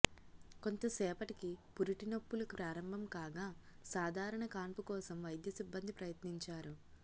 కొంతసేపటికి పురిటి నొప్పులు ప్రారంభంకాగా సాధారణ కాన్పు కోసం వైద్య సిబ్బంది ప్రయత్నించారు